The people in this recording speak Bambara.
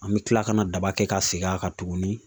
An bɛ kila ka na daba kɛ ka segin a kan tuguni